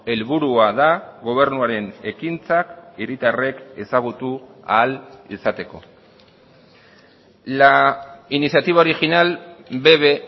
helburua da gobernuaren ekintzak hiritarrek ezagutu ahal izateko la iniciativa original bebe